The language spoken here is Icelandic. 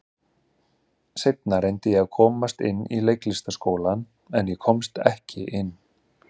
Seinna reyndi ég að komast inn í Leiklistarskólann, en ég komst ekki inn.